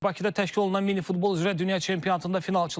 Bakıda təşkil olunan minifutbol üzrə dünya çempionatında finalçılar məlumdur.